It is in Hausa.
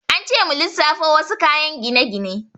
An ce mu lissafo wasu kayan gine-gine.